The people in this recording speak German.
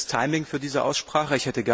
Ein schlechtes Timing für diese Aussprache.